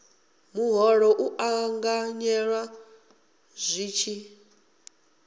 muholo u ṱanganyelwa zwi tshi